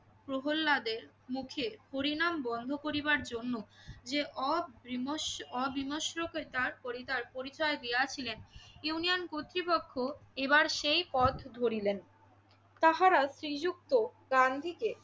প্রহলাদের মুখে হরিনাম বন্ধ করিবার জন্য যে অবিমষ~ অবিমৃষ্যকারিতার পরিচয়~ পরিচয় দিয়াছিলেন। ইউনিয়ন কর্তৃপক্ষ এবার সেই পথ ধরিলেন। তাহারা শ্রীযুক্ত গান্ধীকে